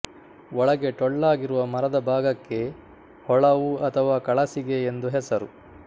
ಒಳಗೆ ಟೊಳ್ಳಾಗಿರುವ ಮರದ ಭಾಗಕ್ಕೆ ಹೊಳವು ಅಥವಾ ಕಳಸಿಗೆ ಎಂದು ಹೆಸರು